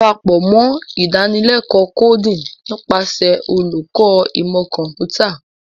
Darapọ mọ Idanileko Coding nipasẹ Oluko Imọ Kọmputa.